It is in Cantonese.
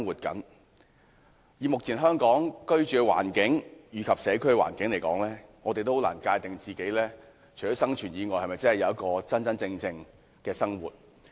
根據目前香港的居住環境和社區環境，我們很難界定自己除了生存以外，是否擁有真正的生活。